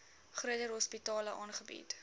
groter hospitale aangebied